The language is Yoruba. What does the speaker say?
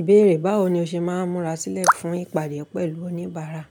Ìbéèrè báwo ni o ṣe máa ń múra sílẹ̀ fún ìpàdé pẹ̀lú oníbàárà?